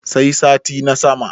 sai sati na sama